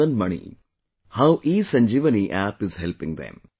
Madan Mani how ESanjeevani App is helping them